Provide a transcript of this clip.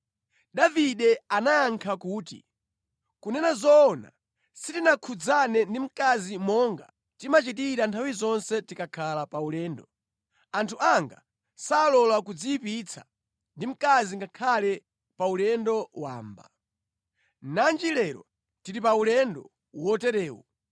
Davide anayankha kuti, “Kunena zoona sitinakhudzane ndi mkazi monga timachitira nthawi zonse tikakhala pa ulendo. Anthu anga salola kudziyipitsa ndi mkazi ngakhale pa ulendo wamba. Nanji lero tili pa ulendo woterewu!”